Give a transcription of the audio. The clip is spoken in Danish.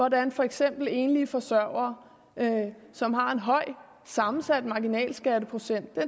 at der for eksempel er enlige forsørgere som har en høj sammensat marginalskatteprocent